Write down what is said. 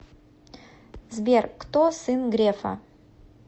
сбер кто сын грефа